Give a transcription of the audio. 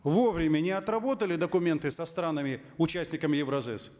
вовремя не отработали документы со странами участниками евразэс